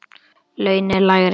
Laun eru lægri.